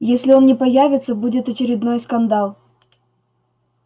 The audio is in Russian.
если он не появится будет очередной скандал